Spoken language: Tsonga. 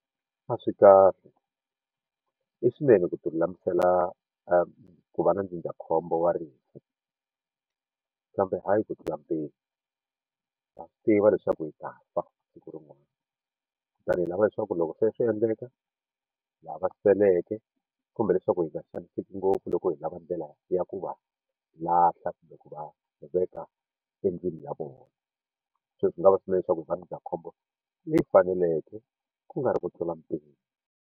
A swi kahle i swinene ku ti lulamisela ku va na ndzindzakhombo wa rifu kambe hayi ku tlula mpimo ha swi tiva leswaku hi ta fa siku rin'wana kutani hi lava leswaku loko se swi endleka lava seleke kumbe leswaku hi nga xaniseki ngopfu loko hi lava ndlela ya ku va lahla kumbe ku va veka endlwini ya vona se swi nga va leswaku va ndzindzakhombo leyi faneleke ku nga ri ku tlula mpimo.